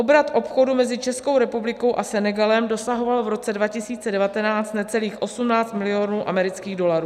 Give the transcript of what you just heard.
Obrat obchodu mezi Českou republikou a Senegalem dosahoval v roce 2019 necelých 18 milionů amerických dolarů.